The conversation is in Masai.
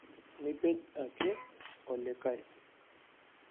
Mipej ake olikae